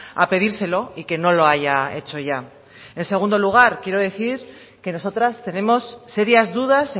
a pedírselo y que no lo haya hecho ya en segundo lugar quiero decir que nosotras tenemos serias dudas